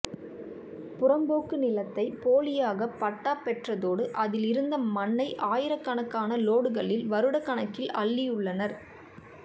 புறம்போக்கு நிலத்தை போலியாக பட்டா பெற்றதோடு அதில் இருந்த மண்ணை ஆயிரக்கணக்கான லோடுகளில் வருடக்கணக்கில் அள்ளியுள்ளனர்